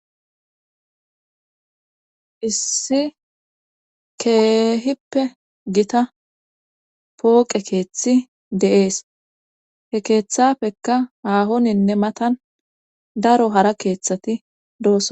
issi keehippe gita pooqe keeththi deees he keeththafekka haahoninne matan daro hara keeththati doos